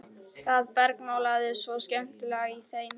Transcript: Það bergmálaði svo skemmtilega í þeim.